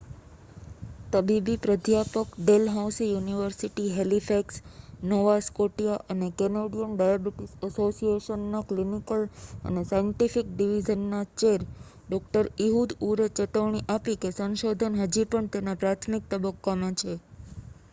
તબીબી પ્રાધ્યાપક Dalhousie university Halifax Nova Scotia અને કેનેડીયન ડાયાબિટીસ એસોસિએશન ના ક્લિનિકલ અને સાયન્ટિફિક ડિવિઝન ના ચેર ડો ઈહુદ ઉર એ ચેતવણી આપી કે સંશોધન હજી પણ તેના પ્રાથમિક તબક્કા માં છે